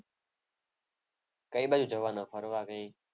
કઈ બાજુ જવાના ફરવા કઈ?